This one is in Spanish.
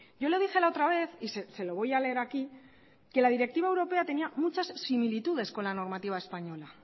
yo lo dije la otra vez y se lo voy a leer aquí que la directiva europea tenía muchas similitudes con la normativa española